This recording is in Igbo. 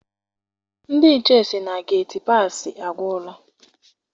Ndị nche sị na geti paasị agwụla.